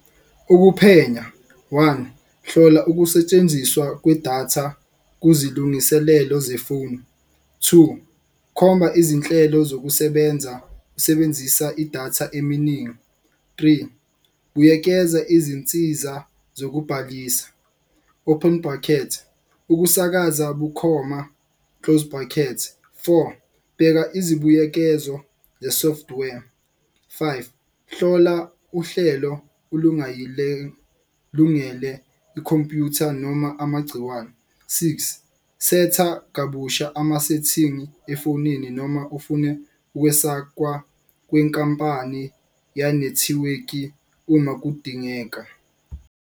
Ukuphenya, one hlola ukusetshenziswa kwedatha kuzilungiselelo zefoni, two khomba izinhlelo zokusebenza usebenzisa idatha eminingi. Three buyekeza izinsiza zokubhalisa open brackets ukusakaza bukhoma close brackerts, four bheka izibuyekezo ze-software. Five hlola uhlelo ikhompuyutha noma amagciwane, six setha kabusha ama-setting-i efonini. Noma ufune ukwesakwa kwenkampani yanethiweki uma kudingeka.